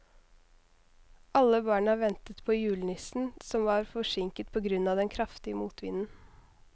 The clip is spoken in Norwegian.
Alle barna ventet på julenissen, som var forsinket på grunn av den kraftige motvinden.